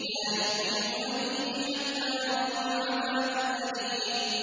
لَا يُؤْمِنُونَ بِهِ حَتَّىٰ يَرَوُا الْعَذَابَ الْأَلِيمَ